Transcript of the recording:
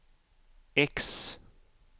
X